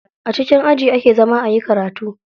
A cikin aji ake zama ayi karatu.